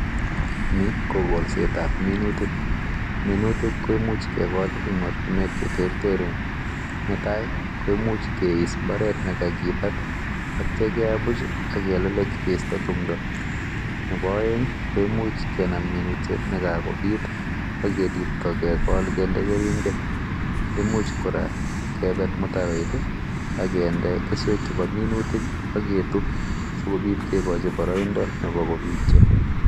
No ko kogolsetab minuutik, minuutik koimuch kegol en ortinwek cheterterchin, netai koimuch keiis mbaret nekakibaat netai, akelelech keistoo timdoo, Nebo oeng komuch kenaam minutiet, yon kakobiit ak libtoo kegol kindee keringet. Imuch kora kebet mutaroit ak kinde keswek chebo minutik ak ketuub sikobiit kikochi boroindoo nebo kobityo.